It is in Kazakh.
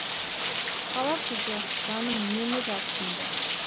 қала күзі жаным нені жатсынды